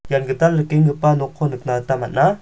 ian gital rikenggipa nokko nikna gita man·a.